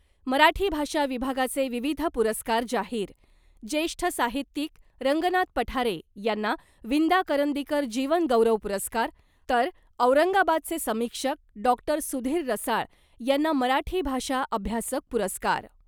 मराठी भाषा विभागाचे विविध पुरस्कार जाहीर ज्येष्ठ साहित्यिक रंगनाथ पठारे यांना विंदा करंदीकर जीवन गौरव पुरस्कार ' तर औरंगाबादचे समीक्षक डॉक्टर सुधीर रसाळ यांना ' मराठी भाषा अभ्यासक पुरस्कार '.